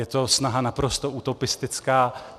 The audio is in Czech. Je to snaha naprosto utopistická.